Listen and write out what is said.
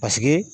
Paseke